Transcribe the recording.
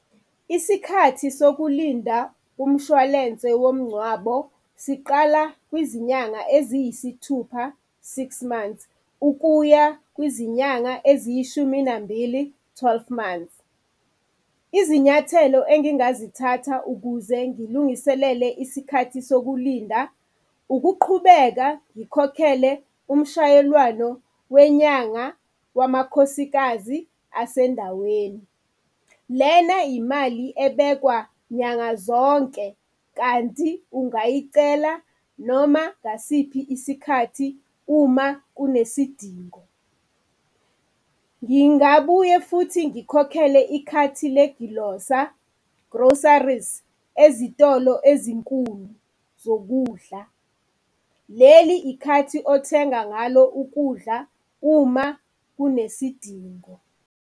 Isikhathi sokulinda umshwalense womngcwabo siqala kwizinyanga eziyisithupha, six months ukuya kwizinyanga eziyishuminambili, twelve months. Izinyathelo engingazithatha ukuze ngilungiselele isikhathi sokulinda ukuqhubeka ngikhokhele umshayelwano wenyanga wamakhosikazi asendaweni. Lena yimali ebekwa nyanga zonke kanti ungayicela noma ngasiphi isikhathi uma kunesidingo. Ngingabuye futhi ngikhokhele ikhathi legilosa, groceries, ezitolo ezinkulu zokudla, leli ikhathi othenga ngalo ukudla uma kunesidingo.